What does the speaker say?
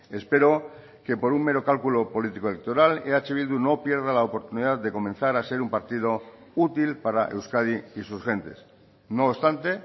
espero que por un mero cálculo político electoral eh bildu no pierda la oportunidad de comenzar a ser un partido útil para euskadi y sus gentes no obstante